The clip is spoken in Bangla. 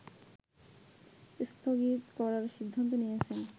স্থগিত করার সিদ্ধান্ত নিয়েছেন